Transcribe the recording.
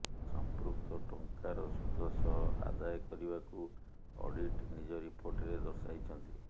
ସମ୍ପୃକ୍ତ ଟଙ୍କାର ସୁଧ ସହ ଆଦାୟ କରିବାକୁ ଅଡିଟ ନିଜ ରିପୋର୍ଟରେ ଦର୍ଶାଇଛନ୍ତି